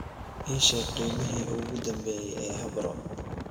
ii sheeg qiimihii ugu dambeeyay ee habro